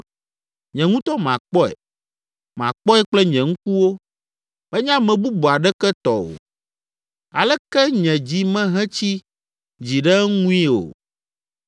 Nye ŋutɔ makpɔe, makpɔe kple nye ŋkuwo, menye ame bubu aɖeke tɔ o. Aleke nye dzi mehetsi dzi ɖe eŋui o!